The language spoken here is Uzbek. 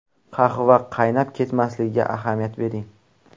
Qahva qaynab ketmasligiga ahamiyat bering.